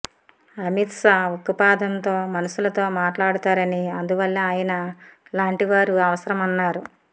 అమిత్ షా ఉక్కుపాదంతో మనుషులతో మాట్లాడతారని అందువల్లే ఆయన లాంటి వారు అవసరమన్నారు